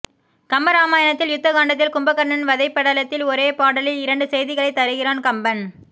கம்ப ராமாயணத்தில் யுத்த காண்டத்தில் கும்பகர்ணன் வதைப் படலத்தில் ஒரே பாடலில் இரண்டு செய்திகளைத் தருகிறான் கம்பன்